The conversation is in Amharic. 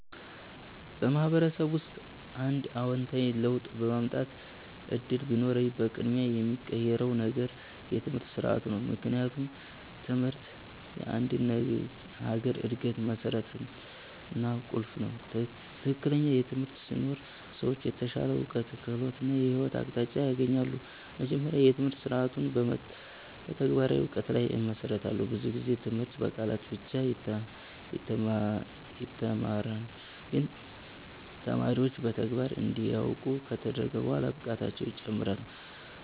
በማህበረሰብ ውስጥ አንድ አዎንታዊ ለውጥ የማምጣት እድል ቢኖረኝ፣ በቅድሚያ የምቀይረው ነገር የትምህርት ስርዓቱ ነው። ምክንያቱም ትምህርት የአንድ ሀገር እድገት መሠረት እና ቁልፍ ነው። ትክክለኛ ትምህርት ሲኖር ሰዎች የተሻለ እውቀት፣ ክህሎት እና የህይወት አቅጣጫ ያገኛሉ። መጀመሪያ፣ የትምህርት ስርዓቱን በተግባራዊ እውቀት ላይ እመሰርታለሁ። ብዙ ጊዜ ትምህርት በቃላት ብቻ ይተማራል፣ ግን ተማሪዎች በተግባር እንዲያውቁ ከተደረገ በኋላ ብቃታቸው ይጨምራል።